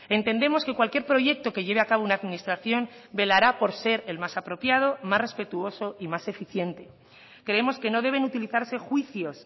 entendemos que cualquier proyecto que lleve a cabo una administración velará por ser el más apropiado más respetuoso y más eficiente creemos que no deben utilizarse juicios